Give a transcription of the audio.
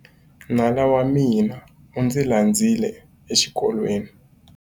Nala wa mina u ndzi landzile exikolweni.